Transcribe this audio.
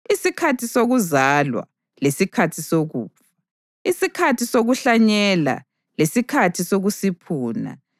isikhathi sokuzalwa lesikhathi sokufa, isikhathi sokuhlanyela lesikhathi sokusiphuna,